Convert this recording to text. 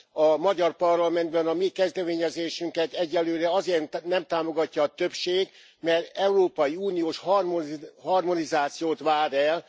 A magyar parlamentben a mi kezdeményezésünket egyelőre azért nem támogatja a többség, mert európai uniós harmonizációt vár el.